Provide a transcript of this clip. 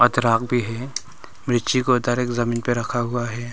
अदरक भी है। मिर्ची को डायरेक्ट जमीन पर रखा हुआ है।